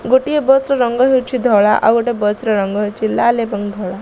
ଗୋଟିଏ ବସ୍ ର ରଙ୍ଗ ହେଉଛି ଧଳା। ଆଉ ଗୋଟିଏ ବସ୍ ର ରଙ୍ଗ ହେଉଛି ଲାଲ ଏବଂ ଧଳା।